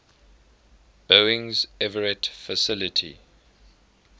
boeing's everett facility